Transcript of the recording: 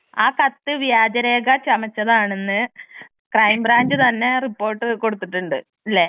ആ കത്ത് വ്യാജരേഖ ചമച്ചതാണെന്ന് ക്രൈംബ്രാഞ്ച് തന്നെ റിപ്പോർട്ട് കൊടുത്തിട്ടുണ്ട് ഇല്ലേ.